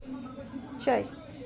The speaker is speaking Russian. чай